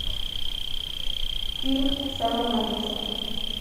фильм сэма мендеса